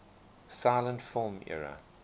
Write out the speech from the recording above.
silent film era